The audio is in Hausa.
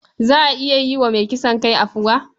Za a iya yi wa mai kisan kai afuwa?